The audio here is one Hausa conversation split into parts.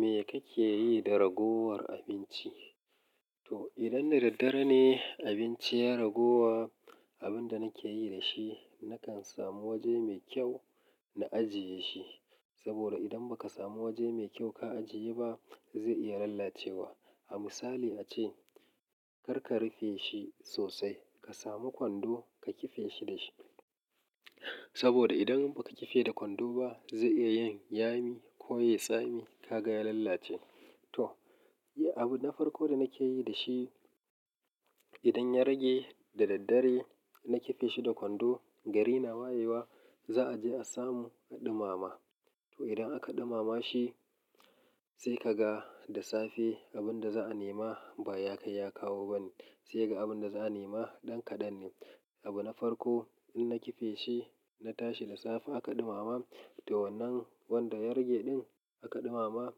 Me kake yi da ragowar abinci? To idan da daddare ne abinci ya raguwa, abin da nake yi da shi, nakan samu waje mai kyau na ajiye shi. Saboda idan ba ka samu waje mai kyau ka ajiye ba, zai iya lalacewa. A misali ace, kar ka rufe shi sosai. Ka samu kwando ka kife shi da shi. Saboda idan ba ka kife da kwando ba zai iya yin yami ko yayi tsami ka ga ya lalace. To, iya abu na farko da nake yi da shi, idan ya rage da daddare, na kife shi da kwando, gari na wayewa, za a je a samu a ɗumama. To idan aka ɗumama shi, sai ka ga da safe abin da za a nema ba ya kai ya kawo ba ne. Sai ga abin da za a nema ɗan kaɗan ne. Abu na farko in na kife shi, na tashi da safe aka ɗumama, to wannan wanda ya rage ɗin aka ɗumama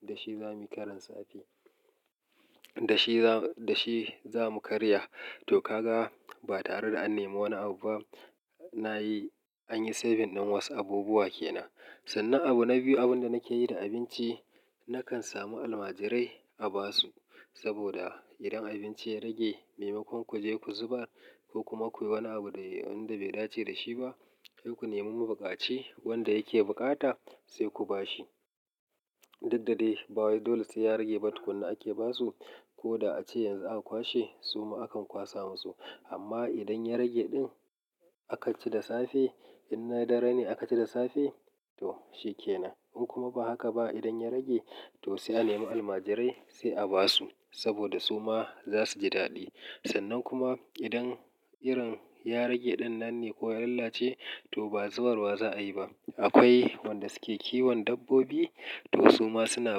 dashi zamuyi karin safe da shi zamu karya. To ka ga ba tare da an nema wani abu ba, na yi, an yi saving din wasu abubuwa ke nan. Sannan abu na biyu abin da nake yi da abinci, nakan samu almajirai a ba su. Saboda idan abinci ya rage, maimakon ku je ku zubar ko kuma kuyi wani abu da wanda bai dace da shi ba, sai ku nemi ma buƙaci wanda yake bukata sai ku ba shi. Duk da dai ba wai dole sai ya rage ba tukunna ake basu. Ko da ace yanzu aka kwashe suma akan kwaso musu. Amma idan ya rage ɗin aka ci da safe, in na dare ne aka ci da safe to shi ke nan. In kuma ba haka ba idan ya rage to sai a nemo almajirai sai a ba su. Saboda su ma za su ji daɗi. Sannan kuma idan irin ya rage ɗin nan ne ko ya lalace to ba zubarwa za a yi ba. Akwai wanda suke kiwon dabbobi to su ma suna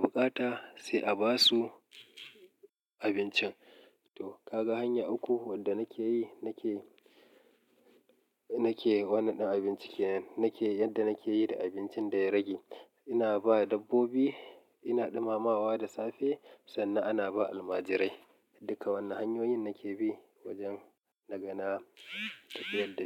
bukata sai a ba su abincin. To kaga hanya uku wanda nake yi, nake, nake wannan ɗin abinci kenan. Nake yadda nake yi da abincin da ya rage. Ina ba dabbobi, ina ɗumamawa da safe sannan ana ba almajirai. Duka wannan hanyoyin nake bi wajen nagana tafiyar dashi.